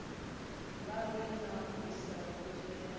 vhavhe na visa u dzhena